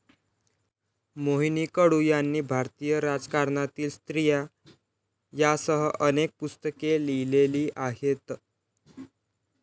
मोहिनी कडू यांनी भारतीय राजकारणातील स्त्रिया यासह अनेक पुस्तके लिहिलेली आहेत